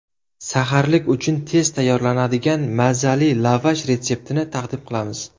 Saharlik uchun tez tayyorlanadigan, mazali lavash retseptini taqdim qilamiz.